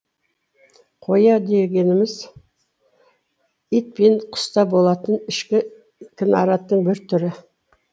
қоя дегеніміз ит пен құста болатын ішкі кінараттың бір түрі